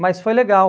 Mas foi legal.